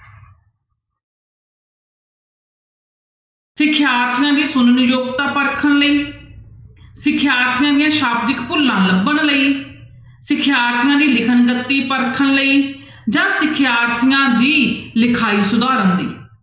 ਸਿਖਿਆਰਥੀਆਂ ਦੀ ਸੁਣਨ ਦੀ ਯੋਗਤਾ ਪਰਖਣ ਲਈ, ਸਿਖਿਆਰਥੀਆਂ ਦੀਆਂ ਸ਼ਾਬਦਿਕ ਭੁੱਲਾਂ ਲੱਭਣ ਲਈ ਸਿਖਿਆਰਥੀਆਂ ਦੀ ਲਿਖਣ ਸ਼ਕਤੀ ਪਰਖਣ ਲਈ ਜਾਂ ਸਿਖਿਆਰਥੀਆਂ ਦੀ ਲਿਖਾਈ ਸੁਧਾਰਨ ਲਈ।